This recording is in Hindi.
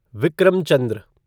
विक्रम चंद्र